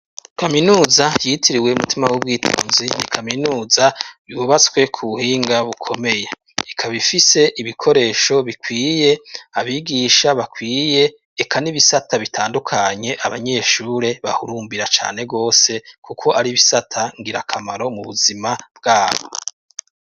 Kaminuza yitiriwe umutima w'ubwitonzi ni kaminuza yubatswe ku buhinga bukomeye, ikab' ifise ibikoresho bikwiye ,abigisha bakwiye eka nibisata bitandukanye abanyeshure bahurumbira cane gose kuko ar'ibisata ngira kamaro mu buzima bwabo.